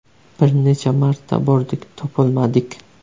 Bir necha marta bordik, topolmadik.